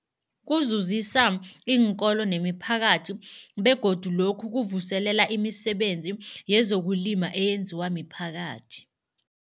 Kuzuzisa iinkolo nemiphakathi begodu lokhu kuvuselela imisebenzi yezokulima eyenziwa miphakathi.